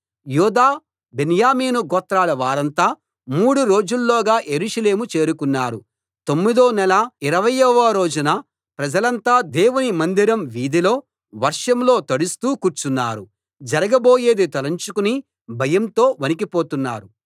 యూదా బెన్యామీను గోత్రాల వారంతా మూడు రోజుల్లోగా యెరూషలేము చేరుకున్నారు తొమ్మిదో నెల 20 వ రోజున ప్రజలంతా దేవుని మందిరం వీధిలో వర్షంలో తడుస్తూ కూర్చున్నారు జరగబోయేది తలంచుకుని భయంతో వణికిపోతున్నారు